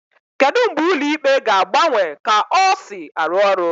Kedu mgbe ụlọ ikpe ga-agbanwe ka ọ si arụ ọrụ?